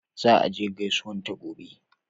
Za a je gaisuwan ta gobe